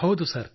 ಹೌದು ಸರ್